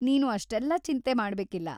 ನೀನು ಅಷ್ಟೆಲ್ಲ ಚಿಂತೆ ಮಾಡ್ಬೇಕಿಲ್ಲ!